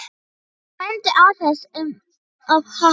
Ég mændi á það eins og upphafinn.